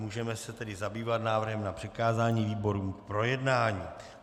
Můžeme se tedy zabývat návrhem na přikázání výborům k projednání.